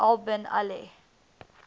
al bin ali